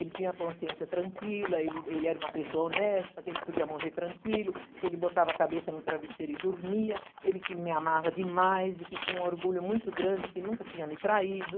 Ele tinha a consciência tranquila, ele ele era uma pessoa honesta, que ele podia morrer tranquilo, que ele botava a cabeça no travesseiro e dormia, ele que me amava demais e que tinha um orgulho muito grande, que nunca tinha me traído.